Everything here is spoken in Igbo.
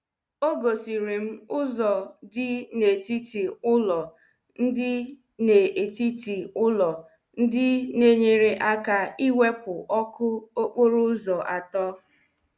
o gosiri m ụzo di n'etiti ụlo ndị n'etiti ụlo ndị na-enyere aka ịwụpụ ọkụ okporo ụzọ atọ.